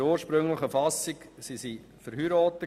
In der ursprünglichen Fassung waren sie verheiratet.